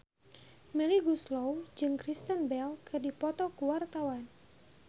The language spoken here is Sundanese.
Melly Goeslaw jeung Kristen Bell keur dipoto ku wartawan